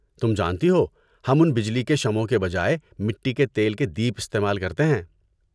تم جانتی ہو، ہم ان بجلی کے شمعوں کے بجائے مٹی کے تیل کے دیپ استعمال کرتے ہیں۔